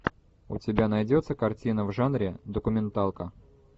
у тебя найдется картина в жанре документалка